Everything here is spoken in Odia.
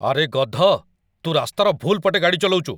ଆରେ, ଗଧ । ତୁ ରାସ୍ତାର ଭୁଲ୍ ପଟେ ଗାଡ଼ି ଚଲଉଚୁ ।